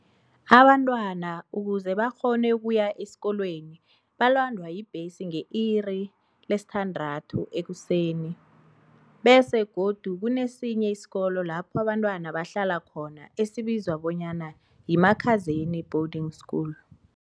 Abantwana ukuze bakghone ukuya esikolweni balandwa yi bhesi nge iri le-6 ekuseni. Bese godu kunesinye isikolo lapho abantwana bahlala khona esibizwa bonyana yiMakhazeni boarding school.